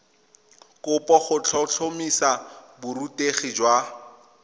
kopo go tlhotlhomisa borutegi jwa